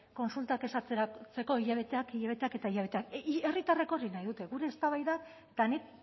kontsultak ez atzeratzeko hilabeteak hilabeteak eta hilabeteak herritarrekin hori nahi dute gure eztabaidak eta nik